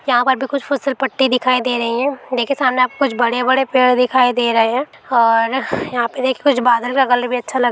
यहां पर भी कुछ फिसल पट्टी दिखाई दे रही है देखिए सामने आपको कुछ बड़े बड़े पेड़ दिखाई दे रहे है और यहां पे देखिए कुछ बादल का कलर भी अच्छा लग--